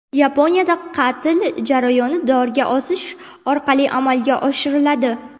Yaponiyada qatl jarayoni dorga osish orqali amalga oshiriladi.